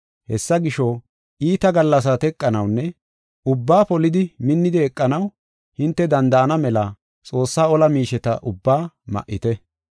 Hessa gisho, iita gallasaa teqanawunne ubbaa polidi, minnidi eqanaw hinte danda7ana mela Xoossaa ola miisheta ubbaa ma7ite.